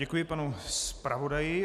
Děkuji panu zpravodaji.